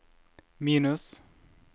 minus